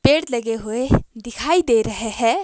पेड़ लगे हुए दिखाई दे रहे हैं।